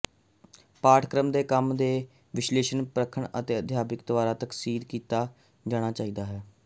ਪਾਠਕ੍ਰਮ ਦੇ ਕੰਮ ਦੇ ਵਿਸ਼ਲੇਸ਼ਣ ਪਰਖਣ ਅਤੇ ਅਧਿਆਪਕ ਦੁਆਰਾ ਤਸਦੀਕ ਕੀਤਾ ਜਾਣਾ ਚਾਹੀਦਾ ਹੈ